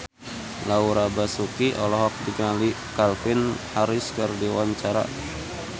Laura Basuki olohok ningali Calvin Harris keur diwawancara